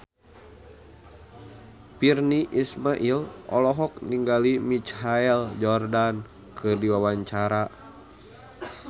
Virnie Ismail olohok ningali Michael Jordan keur diwawancara